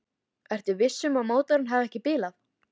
Ertu viss um að mótorinn hafi ekki bilað?